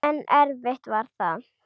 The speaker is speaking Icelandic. En erfitt var það.